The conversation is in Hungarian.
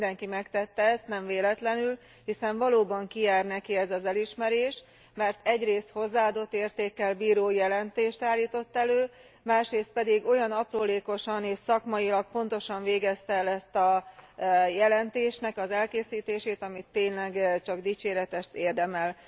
Mindenki megtette ezt, nem véletlenül, hiszen valóban kijár neki ez az elismerés, mert egyrészt hozzáadott értékkel bíró jelentést állított elő, másrészt pedig olyan aprólékosan és szakmailag pontosan végezte el a jelentésnek az elkészítését, ami tényleg csak dicséretet érdemel.